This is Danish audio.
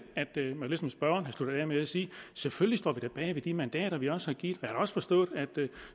at spørgeren sluttet af med at sige selvfølgelig står vi da bag ved de mandater vi også har givet jeg har også forstået at